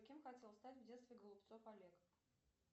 кем хотел стать в детстве голубцов олег